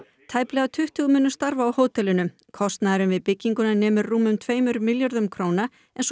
tæplega tuttugu munu starfa á hótelinu kostnaðurinn við bygginguna nemur rúmum tveimur miljörðum króna en svo